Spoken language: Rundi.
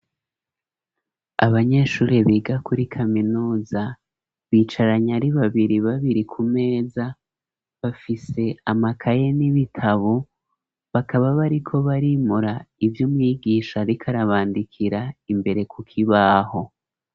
Abanyeshuri biga kuri kaminuza, bicaranye ari babiri babiri ku meza ,bafise amakaye n'ibitabo ,bakaba bariko barimura ivy'umwigisha arikarabandikira, imbere kuk 'ibaho.